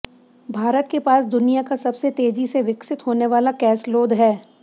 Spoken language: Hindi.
भारत के पास दुनिया का सबसे तेजी से विकसित होने वाला कैसलोद है